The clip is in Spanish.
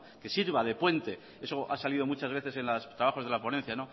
que sirva de puente eso ha salido muchas veces en los trabajos de la ponencia